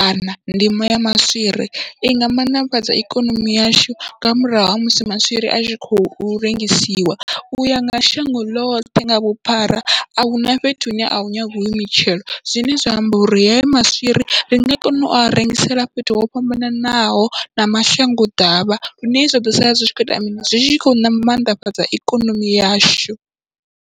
kana ndimo ya maswiri inga mannḓafhadza ikonomi yashu, nga murahu ha musi maswiri atshi khou rengisiwa uya nga shango loṱhe nga vhuphara ahuna fhethu hune ahu nyangiwi hoyu mitshelo, zwine zwa amba uri heya maswiri ringa kona ua rengisela fhethu ho fhambananaho na mashango ḓavha, lune zwa ḓo sala zwi tshi kho ita mini zwi tshi khou mannḓafhadza ikonomi yashu.